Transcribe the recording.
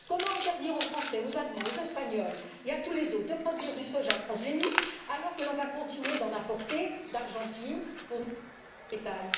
Comment interdire aux Français, aux Allemands, aux Espagnols et à tous les autres, de produire du soja transgénique alors qu'on va continuer d'en importer d'Argentine pour notre bétail?